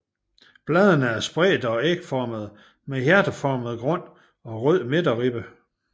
Bladene er spredte og ægformede med hjerteformet grund og rød midterribbe